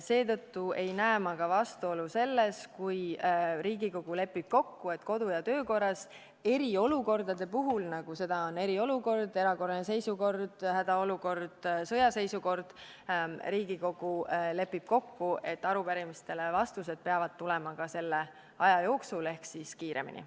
Seetõttu ei näe ma ka vastuolu selles, kui Riigikogu lepib kodu- ja töökorras kokku, et eriolukordade puhul, nagu on eriolukord, erakorraline seisukord, hädaolukord, sõjaseisukord, peavad vastused arupärimistele tulema selle aja jooksul ehk kiiremini.